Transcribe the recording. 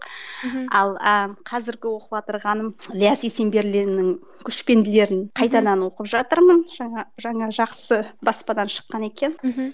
ал ы қазіргі оқыватырғаным ільяс есенберлиннің көшпенділерін қайтадан оқып жатырмын жаңа жаңа жақсы баспадан шыққан екен мхм